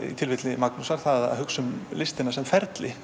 í tilfelli Magnúsar var það að hugsa um listina sem ferli